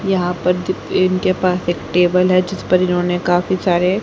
यहां पर जी इनके पास एक टेबल है जिस पर इन्होंने काफी सारे है।